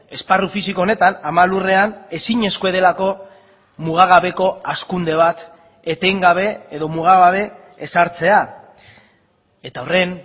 esparru fisiko honetan ama lurrean ezinezkoa delako mugagabeko hazkunde bat etengabe edo mugagabe ezartzea eta horren